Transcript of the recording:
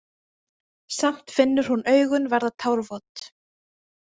Samt finnur hún augun verða tárvot.